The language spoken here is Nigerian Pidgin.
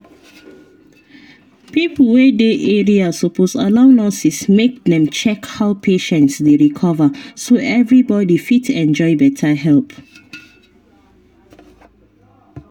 pipo wey dey area suppose allow nurses make dem check how patients dey recover so everybody fit enjoy better help.